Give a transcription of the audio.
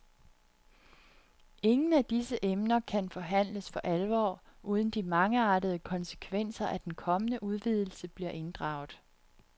Ingen af disse emner kan forhandles for alvor, uden de mangeartede konsekvenser af den kommende udvidelse bliver inddraget.